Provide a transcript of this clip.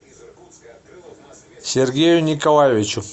сергею николаевичу